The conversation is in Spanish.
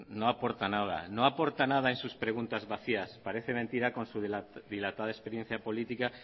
no aporta nada no aporta nada en sus preguntas vacías parece mentira con su dilatada experiencia política